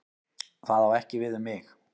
Það á ekki við um mig.